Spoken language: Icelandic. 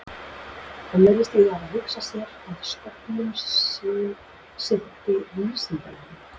Hann virðist því hafa hugsað sér, að stofnun sín sinnti vísindalegri